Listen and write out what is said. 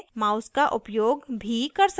अब label पर text बदलने के लिए